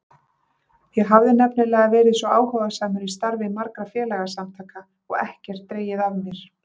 Ég hafði nefnilega verið svo áhugasamur í starfi margra félagasamtaka og ekkert dregið af mér.